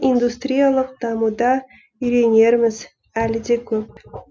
индустриялық дамуда үйренеріміз әлі де көп